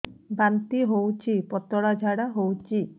ବାନ୍ତି ହଉଚି ପତଳା ଝାଡା ହଉଚି